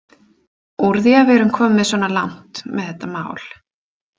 Úr því að við erum komin svona langt með þetta mál.